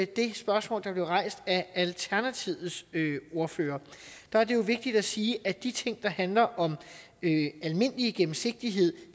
det spørgsmål der blev rejst af alternativets ordfører er det vigtigt at sige at de ting der handler om almindelig gennemsigtighed